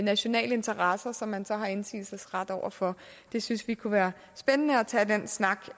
nationale interesser som man så har indsigelsesret over for vi synes det kunne være spændende at tage den snak